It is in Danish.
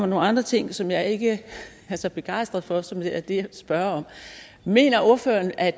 nogle andre ting som jeg ikke er så begejstret for og som er det jeg spørge om mener ordføreren at